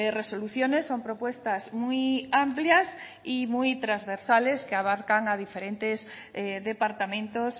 resoluciones son propuestas muy amplias y muy transversales que abarcan a diferentes departamentos